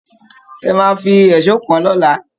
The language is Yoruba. Ẹ máà fí èṣó kàn-àn lọ́la